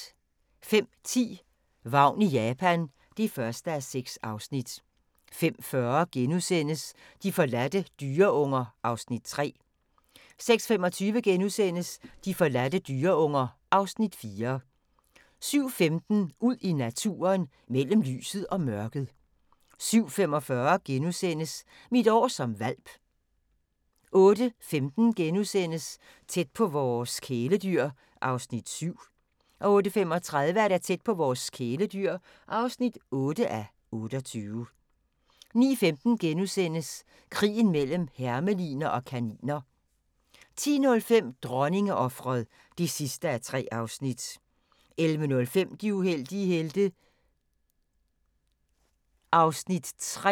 05:10: Vagn i Japan (1:6) 05:40: De forladte dyreunger (Afs. 3)* 06:25: De forladte dyreunger (Afs. 4)* 07:15: Ud i naturen: Mellem lyset og mørket 07:45: Mit år som hvalp * 08:15: Tæt på vores kæledyr (7:28)* 08:35: Tæt på vores kæledyr (8:28) 09:15: Krigen mellem hermeliner og kaniner * 10:05: Dronningeofret (3:3) 11:05: De uheldige helte (Afs. 3)